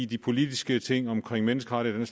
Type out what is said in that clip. de politiske ting omkring menneskerettigheder